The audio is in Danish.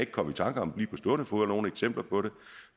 komme i tanke om nogen eksempler på det